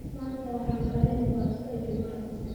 manta waxan karini basto iyo maraq